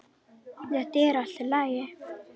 Þetta er allt í lagi.